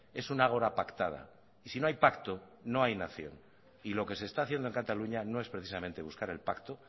es un ágora pactada y si no hay pacto no hay nación y lo que se está haciendo en cataluña no es precisamente buscar el pacto